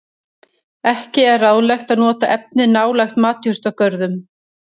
Ekki er ráðlegt að nota efnið nálægt matjurtagörðum.